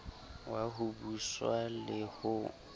wa ho buswa le ho